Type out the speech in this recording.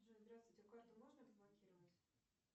джой здравствуйте карту можно разблокировать